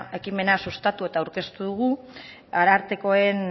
ekimena sustatu eta aurkeztu dugu arartekoen